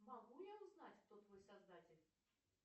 могу я узнать кто твой создатель